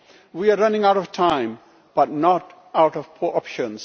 We are running out of time, but not out of options.